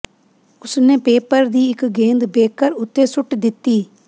ਉਸਨੇ ਪੇਪਰ ਦੀ ਇੱਕ ਗੇਂਦ ਬੇਕਰ ਉੱਤੇ ਸੁੱਟ ਦਿੱਤੀ